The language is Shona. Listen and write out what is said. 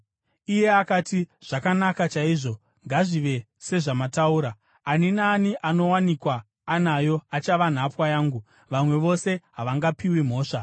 Iye akati, “Zvakanaka chaizvo, ngazvive sezvamataura. Ani naani anowanikwa anayo achava nhapwa yangu; vamwe mose hamungapiwi mhosva.”